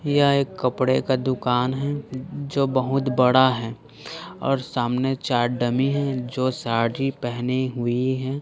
यह एक कपड़े का दुकान है जो बहुत बड़ा है और सामने चार डमी है जो साड़ी पेहनी हुई है।